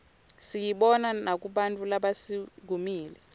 siyibona makubantfu labasuumile